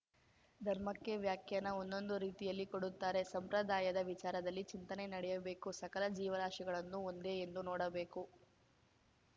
ಧರ್ಮಕ್ಕೆ ವ್ಯಾಖ್ಯಾನ ಒಂದೊಂದು ರೀತಿಯಲ್ಲಿ ಕೊಡುತ್ತಾರೆ ಸಂಪ್ರದಾಯದ ವಿಚಾರದಲ್ಲಿ ಚಿಂತನೆ ನಡೆಯಬೇಕು ಸಕಲ ಜೀವರಾಶಿಗಳನ್ನು ಒಂದೇ ಎಂದು ನೋಡಬೇಕು